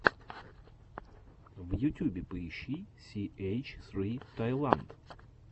в ютюбе поищи си эйч ссри таиланд